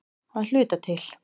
Að hluta til.